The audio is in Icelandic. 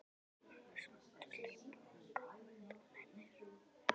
Annars máttu hlaupa og gá ef þú nennir.